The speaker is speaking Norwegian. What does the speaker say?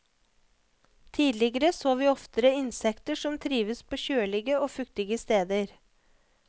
Tidligere så vi oftere insekter som trivdes på kjølige og fuktige steder.